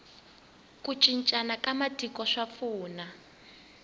ku cincana ka matiko ka pfuna